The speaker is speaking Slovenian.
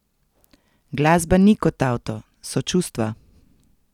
Glasba ni kot avto, so čustva.